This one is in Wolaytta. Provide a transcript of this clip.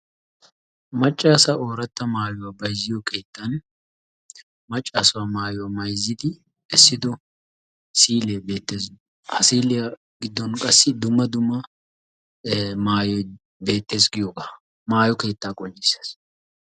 Maccasa ooratta maaytuwa bayzziyo keettan maccassa maatuwa maayssidi essido siile bettees. Ha siiliya giddon qassi dumma dumna maattoy beettees giyoogaa, maayyo keettaa qonccissees.